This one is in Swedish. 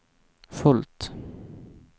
fullt